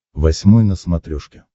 восьмой на смотрешке